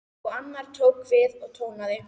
Og annar tók við og tónaði